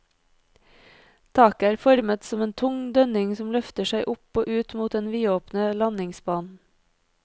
Taket er formet som en tung dønning som løfter seg opp og ut mot den vidåpne landingsbanen.